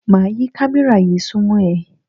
Máa yí kámẹ́rà yí súnmọ́ ẹ.